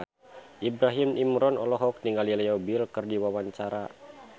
Ibrahim Imran olohok ningali Leo Bill keur diwawancara